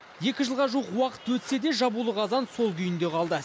екі жылға жуық уақыт өтсе де жабулы қазан сол күйінде қалды